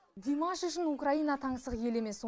димаш үшін украина таңсық ел емес